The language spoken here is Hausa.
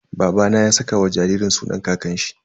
Babana ya saka wa jaririn sunan kakanshi.